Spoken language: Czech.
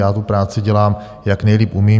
Já tu práci dělám, jak nejlíp umím.